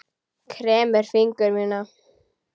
Kremur fingur mína.